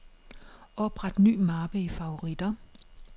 Opret ny mappe i favoritter.